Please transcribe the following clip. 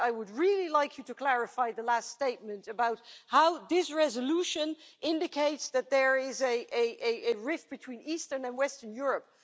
But I would really like you to clarify the last statement about how this resolution indicates that there is a rift between eastern and western Europe.